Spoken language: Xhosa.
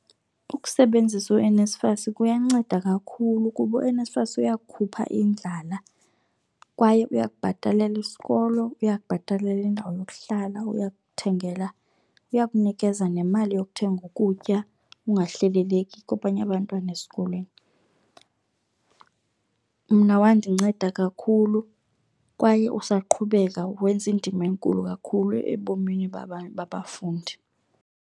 Ukusebenzisa uNSFAS kuyanceda kakhulu kuba uNSFAS uya kukhupha indlala kwaye uya kubhatalela isikolo, uya kubhatalela indawo yokuhlala, uya kuthengela. Uya kunikeza nemali yokuthenga ukutya ungahleleleki kwabanye abantwana esikolweni. Mna wandinceda kakhulu kwaye usaqhubeka wenza indima enkulu kakhulu ebomini babafundi.